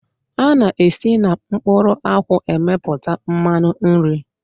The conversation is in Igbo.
A na-esi na mkpụrụ akwụ emepụta mmanụ nri.